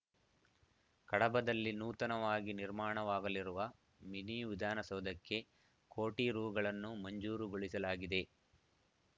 ಕಡಬದಲ್ಲಿ ನೂತನವಾಗಿ ನಿರ್ಮಾಣವಾಗಲಿರುವ ಮಿನಿ ವಿಧಾನಸೌಧಕ್ಕೆ ಕೋಟಿ ರೂಗಳನ್ನು ಮಂಜೂರುಗೊಳಿಸಲಾಗಿದೆ